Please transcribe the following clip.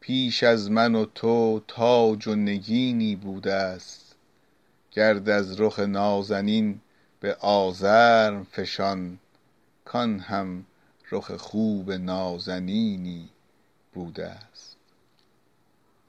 پیش از من و تو تاج و نگینی بوده ست گرد از رخ نازنین به آزرم فشان کآن هم رخ خوب نازنینی بوده ست